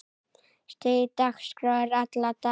Stíf dagskrá er alla daga.